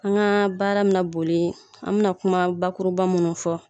An ka baara mi na boli an bɛna kuma bakuruba minnu fɔ